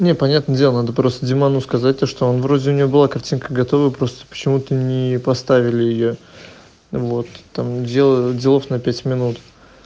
не понятно дело надо просто димону сказать то что он вроде у него была картинка готовы просто почему-то не поставили её вот там дело делов на пять минут